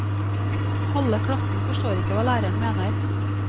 Halve klassen forstår ikke hva læreren mener.